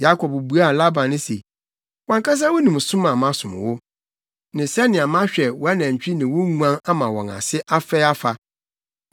Yakob buaa Laban se, “Wʼankasa wunim som a masom wo, ne sɛnea mahwɛ wʼanantwi ne wo nguan ama wɔn ase afɛe afa.